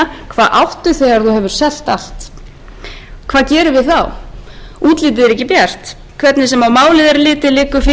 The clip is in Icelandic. hvað áttu þegar þú hefur selt allt hvað gerum við þá útlitið er ekki bjart hvernig sem á málið er litið liggur fyrir